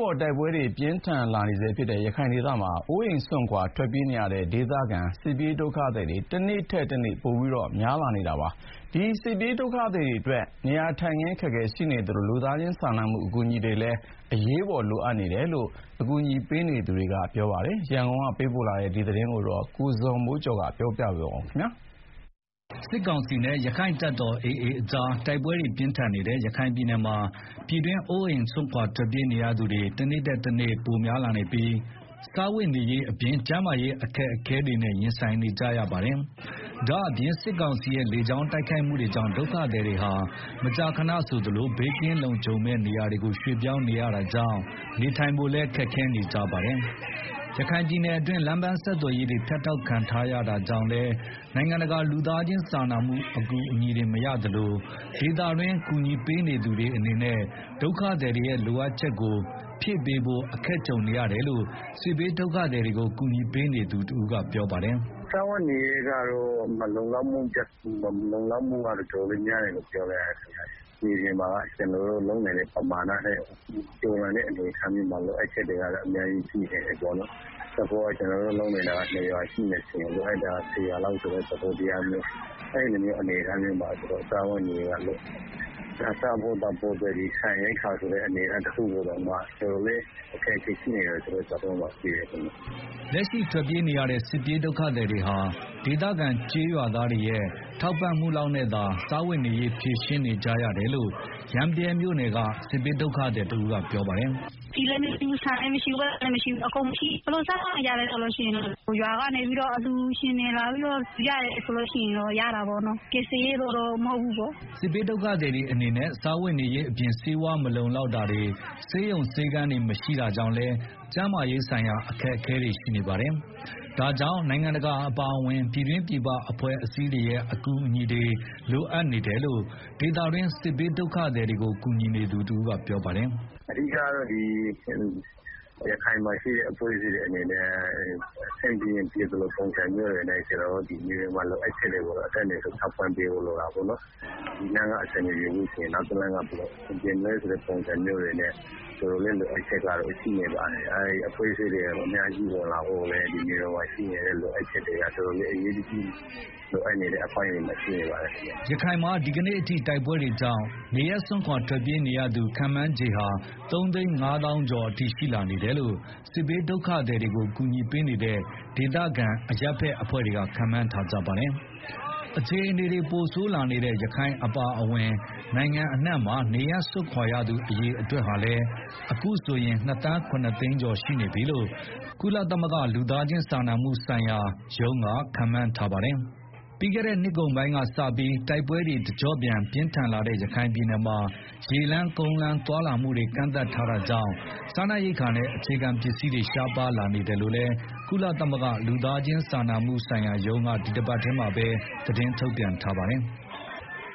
ပေါ်တိုက်ပွဲတွေပြင်းထန်လာနေဆဲဖြစ်တဲ့ ရခိုင်ဒေသမှာ အိုးအိမ်စွန့်ခွာထွက်ပြေးနေရတဲ့ ဒေသခံစစ်ဘေးဒုက္ခသည်တွေ တနေ့ထက်တနေ့များပြားလာနေတာပါ။ လက်ရှိမှာတော့ စစ်ဘေးဒုက္ခသည်တွေအတွက် နေရာထိုင်းခင်းအခက်အခဲရှိနေသလို လူသားချင်းစာမှုအကူ အညီတွေလည်းအရေးပေါ် လိုအပ်နေတယ်လို့ ဒေသတွင်းကူညီပေးနေသူတွေက ပြောဆိုကြပါတယ်။ သတင်းအပြည့်အစုံကိုတော့ ရန်ကုန်ကလာတဲ့သတင်းကို ကိုဇော်မိုးကျော်ပြောပြပါမယ်။ စစ်ကောင်စီနဲ့ ရက္ခိုင့်တပ်တော် AAအဖွဲ့ကြား တိုက်ပွဲတွေပြင်းထန်နေတဲ့ ရခိုင်ပြည်နယ်မှာ ပြည်တွင်းအိုးအိမ်စွန့်ခွာထွက်ပြေးနေရသူတွေ တနေ့ထက်တနေ့ များပြားလာနေပြီး စားဝတ်နေ ရေးအပြင် ကျန်းမာရေး အခက်အခဲတွေနဲ့ ရင်ဆိုင်နေကြရတာပါ။ ဒါ့အပြင် စစ်ကောင်စီရဲ့ လေကြောင်းတိုက်ခိုက်မှုတွေကြောင့် ဒုက္ခသည်တွေဟာ မကြာခဏဆိုသလို ဘေးကင်းလုံခြုံမယ့်နေရာတွေကို ရွှေ့ပြောင်းနေကြရတာကြောင့် နေထိုင်ဖို့ပါ ခက်ခဲနေကြ တာလည်းဖြစ်ပါတယ်။ ရခိုင်ပြည်နယ်အတွင်းမှာ လမ်းပန်းဆက်သွယ်ရေးတွေ ဖြတ်တောက်ခံထားရတာကြောင့်လည်း နိုုင်ငံတကာ လူသားချင်းစာမှုအကူအညီတွေ မရသလိုဒေသတွင်း ကူညီပေးနေသူတွေအနေနဲ့ ဒုက္ခသည်တွေရဲ့ လိုအပ်ချက်တွေကို ဖြည့်ပေးဖို့ အခက်ကြုံနေရတယ်လို့ စစ်ဘေးဒုက္ခသည်ကူညီပေးနေသူတဦးကပြောပါတယ်။ “ စားဝတ်နေရေးကတော့ မလုံလောက်မှုကတော့ တော်တော်လေးများတယ်လို့ ပြောလို့ရ ပါတယ်။ မြေပြင်မှာက ကျနော်တို့ လုပ်နိုင်တာထက် ကျော်လွန်ပြီးတော့ လိုအပ်ချက်တွေ အများကြီးရှိနေတယ်။ ဥပမာ ကျနော်တို့ လုပ်နိုင်တာ ၂ရွာဆိုရင်လိုအပ်နေတာက ၁၀ ရွာလောက်ဖြစ်နေတယ်ဆိုတော့ စားဖို့သောက်ဖို့ တွက် ဆန်ရိက္ခာတခုတည်းတောင်မှ တော်တော်လေး အခက်အခဲဖြစ်နေတဲ့ အနေအထားမှာရှိတယ်ဗျ။ ” လက်ရှိထွက်ပြေးနေရတဲ့ စစ်ဘေးဒုက္ခသည်တွေဟာ ဒေသခံကျေးရွာသားတွေရဲ့ ထောက် ပံ့မှုလောက်နဲ့သာစားဝတ်နေရေးကို ဖြေရှင်းနေကြရတယ်လို့ ရမ်းဗြဲမြို့နယ်က စစ်ဘေး ဒုက္ခသည်တဦးကပြောပါတယ်။ “ ဆီလည်းမရှိဘူး၊ ဆန်လည်းမရှိဘူး၊ ပိုက်ဆံလည်းမရှိဘူး၊အကုန်လုံးမရှိဘူး၊ ဘာလို့စားသောက်နေကြလဲဆိုတော့ ရွာတွေကနေပြီးတော့ အလှူရှင်တွေ လာပြီးတော့ ရတယ်ဆို လို့ရှိရင်တော့ စားရတာပေါ့နော်။ ကယ်ဆယ်ရေးလို့တော့ မဟုတ်တော့ဘူး။” စစ်ဘေးဒုက္ခသည်တွေအနေနဲ့ စားဝတ်နေရေးအပြင် ဆေးဝါးမလုံလောက်တာတွေ ဆေးရုံ၊ ဆေးခန်းတွေမရှိတာကြောင့် ကျန်းမာရေးဆိုင်ရာ အခက်အခဲတွေလည်း ရှိနေကြတာပါ။ ဒါ့ကြောင့် နိုင်ငံတကာအပါအဝင် ပြည်တွင်းပြည်ပအဖွဲ့အစည်းတွေရဲ့ အကူအညီတွေ လိုအပ်နေတယ်လို့ ဒေသတွင်း စစ်ဘေးဒုက္ခသည် ကူညီနေသူတဦးကပြောပါတယ်။ “ အဓိကတော့ ရခိုင်ပြည်နယ်မှာ ရှိတဲ့ အဖွဲ့အစည်းတွေ အနေနဲ့ အဆင်ပြေရင်ပြေသလို ပုံစံမျိုးနဲ့ မြေပြင်မှာ လိုအပ်ချက်တွေကို အတတ်နိုင်ဆုံး ထောက်ပံ့ပေး ဖို့လိုတာပေါ့နော်၊ ဒီလမ်းက အဆင်မပြေဘူးဆိုရင် နောက်တလမ်းကပေါ့၊ လိုအပ်ချက်တွေက တော်တော်လေး လိုအပ်နေတယ် အဖွဲ့အစည်းတွေလည်း အများကြီးဝင်လာဖို့ လိုတယ်။” ရခိုင်မှာ ဒီကနေ့အထိ တိုက်ပွဲတွေကြောင့် ရခိုင်မှာနေရပ်စွန့်ခွာ ထွက်ပြေးနေရ ခန့်မှန်းခြေ ၃၅ဝ ဝဝဝ ကျော် အထိရှိလာနေတယ်လို့ စစ်ဘေးဒုက္ခသည်တွေကို ကူညီပေးနေတဲ့ ဒေသခံအရပ်ဘက် အဖွဲ့တွေက ခန့်မှန်းထားကြပါတယ်။ အခြေအနေတွေ ပိုဆိုးလာနေတဲ့ ရခိုင်အပါအဝင် နိုင်ငံအနှံ့မှာ နေရပ်စွန့်ခွာရသူ အရေအတွက်ဟာလည်း အခုဆိုရင် ၂ သန်း ၇ သိန်းကျော် ရှိနေပြီလို့ ကုလသမဂ္ဂ လူသားချင်းစာနာမှုဆိုင်ရာ ညှိနှိုင်းရေးမှူးရုံးကခန့်မှန်းထားပါတယ်။ ပြီးခဲ့တဲ့နှစ်ကုန်ပိုင်းကစ တိုက်ပွဲတွေ တကျော့ပြန် ပြင်းထန်လာတဲ့ ရခိုင်ပြည်နယ်မှာ ရေလမ်း၊ ကုန်းလမ်း သွားလာမှုတွေ ကန့်သတ်ထားတာကြောင့် စားနပ် ရိက္ခာနဲ့ အခြေခံပစ္စည်းတွေ ရှားပါးလာနေတယ်လို့လည်း ကုလသမဂ္ဂ လူသားချင်းစာနာမှုဆိုင်ရာ ညှိနှိုင်းရေးမှူးရုံးက ဒီတပတ်ထဲမှာပဲ သတင်းထုတ်ပြန်ထားပါတယ်။